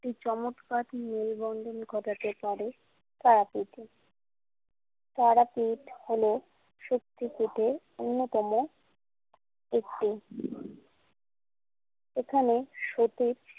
একটি চমৎকারী মেলবন্ধন ঘটাতে পারে তারাপীঠে তারাপীঠ হল সত্যিকেটে অন্যতম একটি এখানে সতীর।